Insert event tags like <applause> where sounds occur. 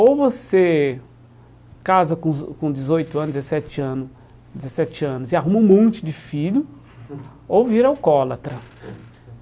Ou você casa com <unintelligible> com dezoito anos, dezessete ano, dezessete anos e arruma um monte de filho, <laughs> ou vira alcoólatra.